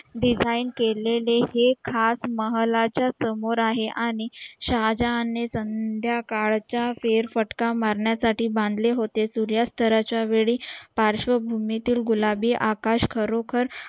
design केलेले हे खास महालाच्या समोर आहे आणि शहाजान ने संध्या काळ च्या फेर फटका मरण्या साठी बांधले होते सूर्यस्ता च्या वेळी पार्शवभूमी ते गुलाबी आकाश खरोखर